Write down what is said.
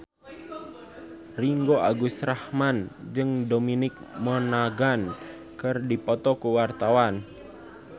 Ringgo Agus Rahman jeung Dominic Monaghan keur dipoto ku wartawan